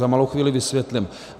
Za malou chvíli vysvětlím.